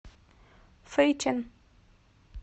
фэйчэн